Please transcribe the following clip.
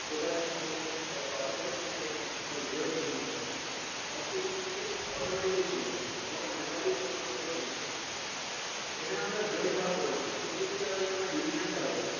total change হলো তার percentage তা change হয়ে গেলো তার grade change হয়ে গেলো সমস্ত কিছু কিন্তু automatically change হয়ে গেলো তোমাকে manually কোনো রকম ভাবে change করতে হলো না এখানে আমরা grade বার করেছি তুমি যদি চাও এবার division বার করতে